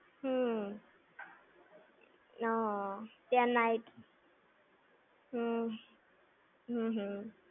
હમ્મ. અનન. કેમ night? હમ્મ, હું. હું.